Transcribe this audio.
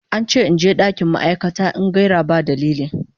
An ce in je dakin ma'aikata in gaira ba dalili.